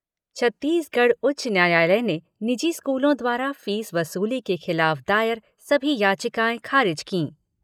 छत्तीसगढ़ उच्च न्यायालय ने निजी स्कूलों द्वारा फीस वसूली के खिलाफ दायर सभी याचिकाएं खारिज कीं।